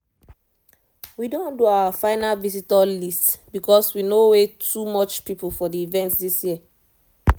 we don do our final visitor list because we no way too much people for the event this year